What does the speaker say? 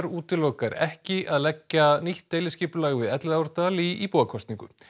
útilokar ekki að leggja nýtt deiliskipulag við Elliðaárdal í íbúakosningu